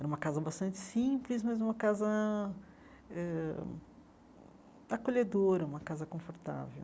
Era uma casa bastante simples, mas uma casa eh acolhedora, uma casa confortável.